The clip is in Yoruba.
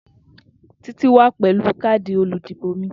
Titi wa pẹlu kaadi oludibo mi.